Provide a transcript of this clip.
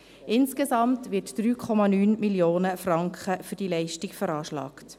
Insgesamt werden 3,9 Mio. Franken für diese Leistung veranschlagt.